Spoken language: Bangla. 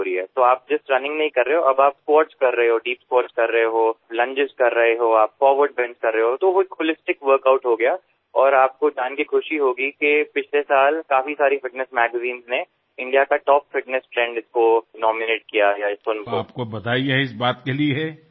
এভাবেআপনারাশুধুমাত্র দৌড়াচ্ছেন না আপনারা squatকরছেন দীপ স্কোয়াট করছেন লাঞ্জেস করছেন ফরওয়ার্ড বেন্ট করছেনতোএভাবেই এটি একটি সামগ্রিক ওয়ার্ক আউট হয়ে গেলএবংআপনি জেনে খুশি হবেন যে গত বছর বেশ কিছু ফিটনেস ম্যাগাজিন এটিকে টপ ফিটনেস ট্রেন্ড হিসেবে মনোনীত করেছেমোদিএর জন্য আপনাকে অনেক অনেক অভিনন্দন